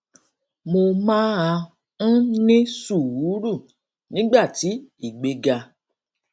mo máa ń ní sùúrù nígbà tí ìgbéga